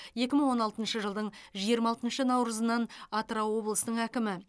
екі мың он алтыншы жылдың жиырма алтыншы наурызынан атырау облысының әкімі